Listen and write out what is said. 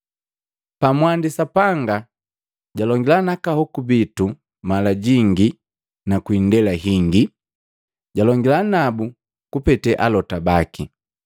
Pamwandi Sapanga jalongila naka hoku bitu mala jingi na kwi indela hingi jalongila nabu kupete alota baki,